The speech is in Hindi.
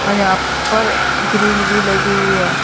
और यहाँ पर ग्रीन भी लगी है।